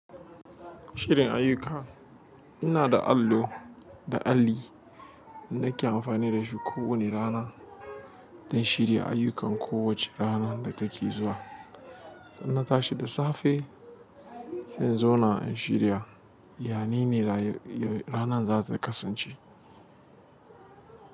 Shirin ayyuka ina da allo da alli da nake amfani da shi kowani rana don shirya ayyukan kowace rana da take zuwa. Don na tashi da safe, sai in zauna in shirya yanayin ranar za ta kasance.